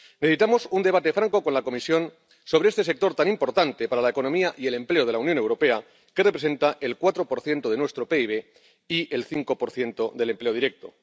Necesitamos un debate franco con la Comisión sobre este sector tan importante para la economía y el empleo de la Unión Europea, que representa el 4 de nuestro PIB y el 5 del empleo directo.